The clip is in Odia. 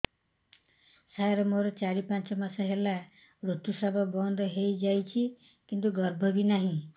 ସାର ମୋର ଚାରି ପାଞ୍ଚ ମାସ ହେଲା ଋତୁସ୍ରାବ ବନ୍ଦ ହେଇଯାଇଛି କିନ୍ତୁ ଗର୍ଭ ବି ନାହିଁ